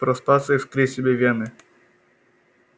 проспаться и вскрыть себе вены